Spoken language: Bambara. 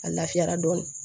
A lafiyara dɔɔni